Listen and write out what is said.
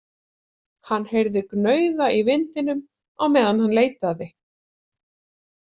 Hann heyrði gnauða í vindinum á meðan hann leitaði.